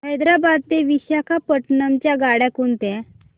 हैदराबाद ते विशाखापट्ण्णम च्या गाड्या कोणत्या